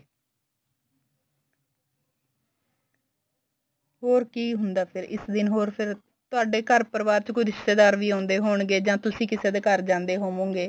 ਹੋਰ ਕੀ ਹੁੰਦਾ ਫੇਰ ਇਸ ਦਿਨ ਹੋਰ ਫੇਰ ਤੁਹਾਡੇ ਘਰ ਪਰਿਵਾਰ ਚ ਕੋਈ ਰਿਸ਼ਤੇਦਾਰ ਵੀ ਆਉਂਦੇ ਹੋਣਗੇ ਜਾਂ ਤੁਸੀਂ ਕਿਸੇ ਦੇ ਘਰ ਜਾਂਦੇ ਹੋਵੋਗੇ